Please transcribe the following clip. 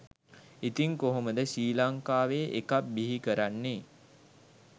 ඉතින් කොහොමද ශ්‍රී ලංකාවේ එකක් බිහි කරන්නේ?